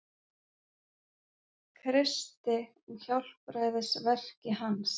Kristi og hjálpræðisverki hans.